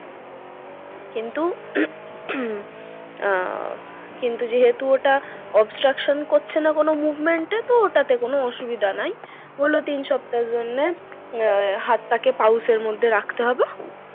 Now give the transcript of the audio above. কিন্তু আহ কিন্তু যেহেতু ওটা obstruction করছে না কোনো movement এ তো ওটাতে কোন অসুবিধা নেই। বললো তিন সপ্তাহের জন্য আহ হাতটাকে pouch এর মধ্যে রাখতে হবে,